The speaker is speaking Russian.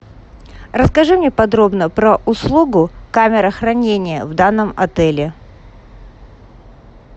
расскажи мне подробно про услугу камера хранения в данном отеле